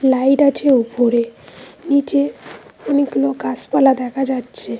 Light আছে ওপরে নীচে অনেকগুলো গাসপালা দেখা যাচ্ছে।